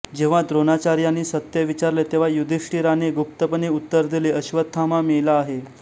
जेव्हा द्रोणाचार्यांनी सत्य विचारले तेव्हा युधिष्ठिराने गुप्तपणे उत्तर दिले अश्वत्थामा मेला आहे